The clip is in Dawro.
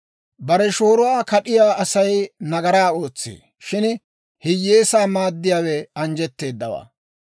Bare shooruwaa kad'iyaa Asay nagaraa ootsee; shin hiyyeesaa maaddiyaawe anjjetteedawaa.